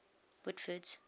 whitford's